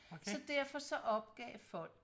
så derfor så opgav folk